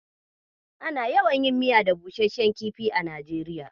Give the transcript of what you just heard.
Ana yawan yin miya da busasshen kifi a Najeriya